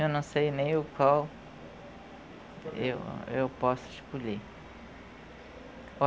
Eu não sei nem o qual eu, eu posso escolher.